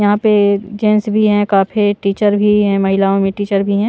यहां पे जेंट्स भी हैं काफी टीचर भी हैं महिलाओं में टीचर भी है ।